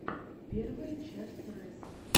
первая часть рэс